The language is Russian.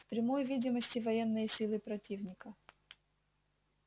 в прямой видимости военные силы противника